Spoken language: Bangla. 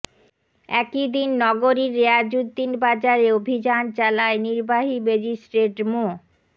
একই দিন নগরীর রেয়াজুদ্দিন বাজারে অভিযান চালায় নির্বাহী ম্যাজিস্ট্রেট মো